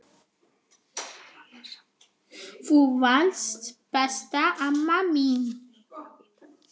Þú varst besta amma mín.